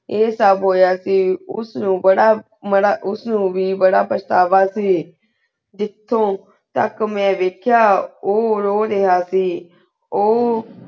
ਆਯ ਸਬ ਹੋਯਾ ਸੇ ਉਸ ਨੂ ਬਾਰਾ ਮਨਾ ਉਸ ਨੂ ਵੀ ਬਾਰਾ ਪਾਸ਼੍ਤਾਵਾ ਸੇ ਜਿਤੋੰ ਤਕ ਮੈਂ ਵਾਯ੍ਖ੍ਯਾ ਊ ਰੋ ਰਾਯ੍ਹਾ ਸੇ ਊ